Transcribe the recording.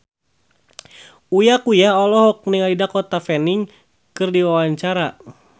Uya Kuya olohok ningali Dakota Fanning keur diwawancara